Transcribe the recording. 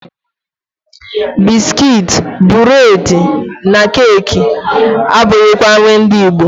Biskit, bụredị na keki abụghịkwa nri ndị Igbo.